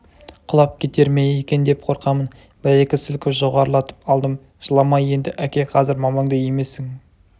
құлап кетер ме екен деп қорқамын бір-екі сілкіп жоғарылатып алдым жылама енді әке қазір мамаңды емесің